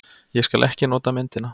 Ég skal ekki nota myndina.